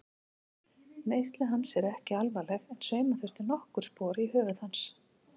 Meiðsli hans eru ekki alvarleg en sauma þurfti nokkur spor í höfuð hans.